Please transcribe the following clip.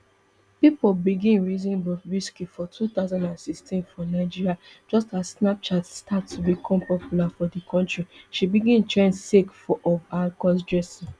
pipo begin reason bobrisky for two thousand and sixteen for nigeria just as snapchat start to become popular for di kontri she begin trend sake of her crossdressing